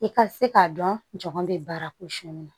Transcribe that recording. I ka se k'a dɔn jɔn bɛ baara ko sɔli ma